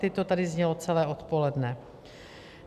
Teď to tady znělo celé odpoledne.